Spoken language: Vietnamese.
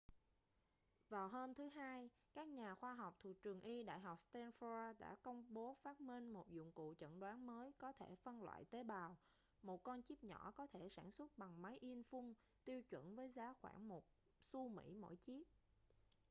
vào hôm thứ hai các nhà khoa học thuộc trường y đại học stanford đã công bố phát minh một dụng cụ chẩn đoán mới có thể phân loại tế bào một con chíp nhỏ có thể sản xuất bằng máy in phun tiêu chuẩn với giá khoảng một xu mỹ mỗi chiếc